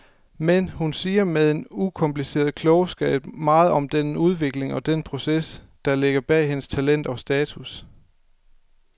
Men hun siger med en ukompliceret klogskab meget om den udvikling og den proces, der ligger bag hendes talent og status.